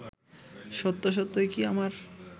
সত্য সত্যই কি আমার